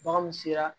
Baganw sera